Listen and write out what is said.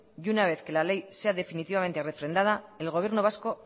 y una vez que la ley sea definitivamente refrendada el gobierno vasco